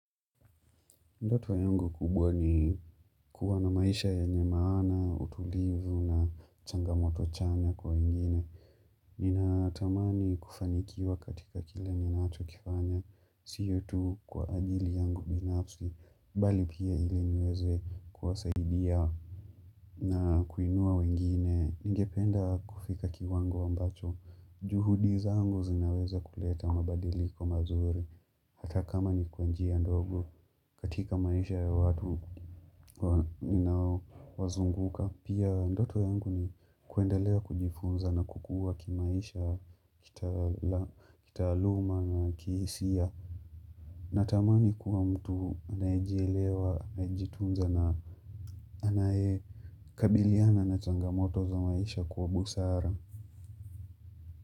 Ndoto wa yangu kubwa ni kuwa na maisha yenye maana, utulivu na changamoto chanya kwa wengine Nina tamani kufanikiwa katika kile ninacho kifanya, siyo tu kwa ajili yangu binafsi, bali pia ili niweze kuwasaidia na kuinua wengine, ningependa kufika kiwango ambacho, juhudi zangu zinaweza kuleta mabadiliko mazuri, hata kama ni kwa njia ndogo katika maisha ya watu wazunguka pia ndoto yangu ni kuendelea kujifunza na kukua kimaisha kitaaluma na kihisia natamani kuwa mtu anayejelewa anajitunza na anayekabiliana na changamoto za maisha kwa busara.